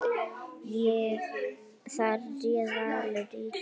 Þar réð Valur ríkjum.